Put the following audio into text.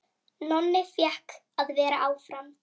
Nonni fékk að vera áfram.